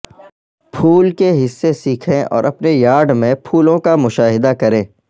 پھول کے حصے سیکھیں اور اپنے یارڈ میں پھولوں کا مشاہدہ کریں